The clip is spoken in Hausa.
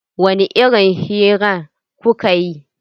Wani irin hira kuka yi?